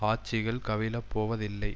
ஆட்சிகள் கவிழ போவதில்லை